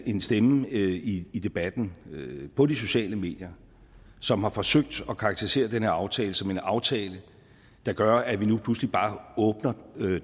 en stemme i i debatten på de sociale medier som har forsøgt at karakterisere den her aftale som en aftale der gør at vi nu pludselig bare åbner